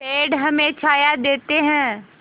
पेड़ हमें छाया देते हैं